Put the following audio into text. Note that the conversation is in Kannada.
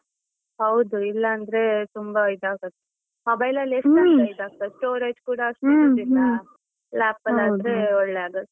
ಹೌದು, ಇಲ್ಲ ಅಂದ್ರೆ ತುಂಬಾ ಇದಾಗುತ್ತೆ ಮೊಬೈಲ್ ಅಲ್ಲಿ ಅಂತ ಇದಾಗ್ತದೆ storage ಕೂಡ ಇರುದಿಲ್ಲ lap ಆದ್ರೆ ಒಳ್ಳೇ ಆಗುತ್ತೆ.